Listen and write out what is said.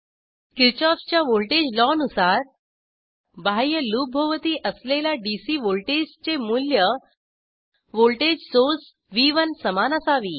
किरशॉफच्या voltage लॉनुसार बाह्य लूपभोवती असलेला डीसी व्हॉल्टेजचे मूल्य व्हॉल्टेज सोर्स व्ह1 समान असावी